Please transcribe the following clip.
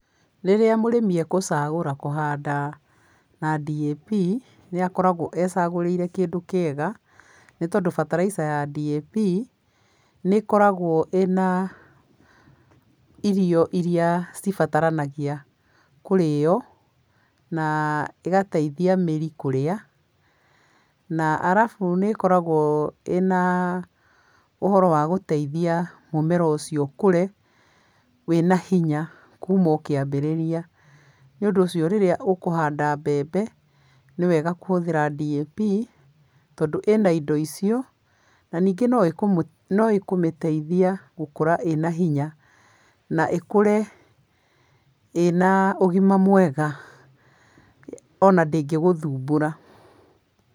Rĩrĩa mũrĩmi ekũcagũra kũhanda na DAP, nĩakoragwo ecagũrĩire kĩndũ kĩega, nĩ tondũ bataraitha ya DAP, nĩĩkoragwo ĩna irio iria cibataranagia kũrĩo, na igateithia mĩri kũrĩa, na arabu nĩ ĩkoragwo ĩna ũhoro wa gũteithia mũmera ũcio ũkũre wĩna hinya kuuma o kĩambĩrĩria. Nĩũndũ ũcio rĩrĩa ũkũhanda mbembe, nĩwega kũhũthĩra DAP tondũ ĩna indo icio, na ningĩ no ĩkũmĩteithia gũkũra ĩna hinya, na ĩkũre ĩna ũgima mwega, ona ndĩngĩgũthumbũra.